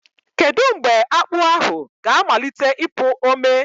Kedu mgbe akpu ahụ ga-amalite ịpụ ome?